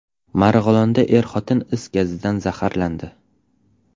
Marg‘ilonda er-xotin is gazidan zaharlandi.